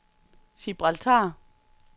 Gibraltar